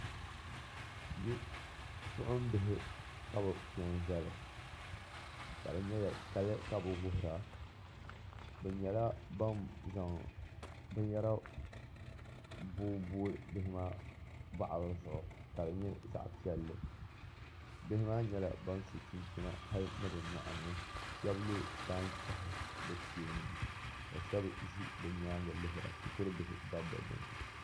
Bipuɣinbihi ka bɛ pe n- zali ka di nyɛla kali ka bɛ wuhiri a bɛ nyɛla ban zaŋ binyɛra booi booi bihi maa taɣili zuɣu ka di nyɛ zaɣ' piɛlli bihi maa nyɛla ba so chinchina hali ni bɛ nyuɣu ni ka shɛba lo taan' chɛchi bɛ sheeni ka shɛba ʒi bɛ nyaaŋa lihiri a ka shikurubihi gabi bɛ ni